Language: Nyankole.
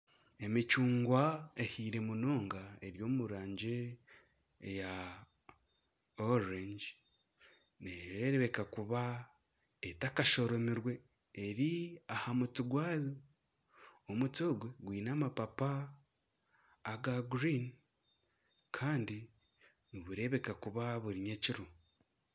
Emicungwa ehaire munonga eri omurangi ya kacungwa nereebeka kuba etakashoromirwe eri ahamuti gwayo omuti ogwo gwine amapapa aga kinyantsi kandi nibureebeka kuba buri nyekiro